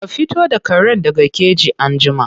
Ka fito da karen daga keji anjima.